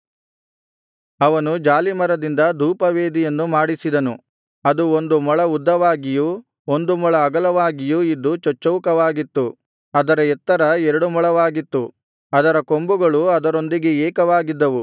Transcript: ಅವನು ಜಾಲೀಮರದಿಂದ ಧೂಪವೇದಿಯನ್ನು ಮಾಡಿಸಿದನು ಅದು ಒಂದು ಮೊಳ ಉದ್ದವಾಗಿಯೂ ಒಂದು ಮೊಳ ಅಗಲವಾಗಿಯು ಇದ್ದು ಚಚ್ಚೌಕವಾಗಿತ್ತು ಅದರ ಎತ್ತರವು ಎರಡು ಮೊಳವಾಗಿತ್ತು ಅದರ ಕೊಂಬುಗಳು ಅದರೊಂದಿಗೆ ಏಕವಾಗಿದ್ದವು